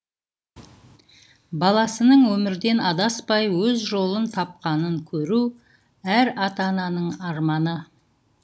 баласының өмірден адаспай өз жолын тапқанын көру әр ата ананың арманы